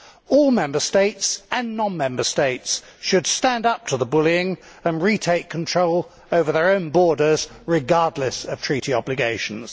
All Member States and non member states should stand up to the bullying and retake control over their own borders, regardless of treaty obligations.